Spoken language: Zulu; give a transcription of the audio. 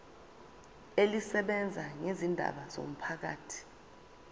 elisebenza ngezindaba zomphakathi